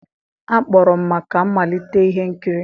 a kpọrọ m maka mmalite ihe nkiri.